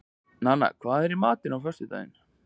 Nanna, hvað er í matinn á föstudaginn?